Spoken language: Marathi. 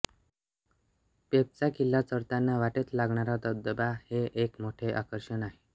पेबचा किल्ला चढताना वाटेत लागणारा धबधबा हे एक मोठे आकर्षण आहे